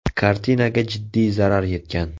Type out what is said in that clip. Kartinaga jiddiy zarar yetgan.